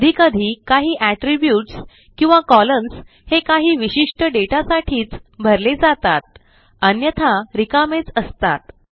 कधीकधी काही एट्रिब्यूट्स किंवा कॉलम्न्स हे काही विशिष्ट डेटासाठीच भरले जातात अन्यथा रिकामेच असतात